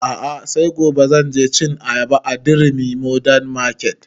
A'a sai gobe zan je cin ayaba a durumi modern market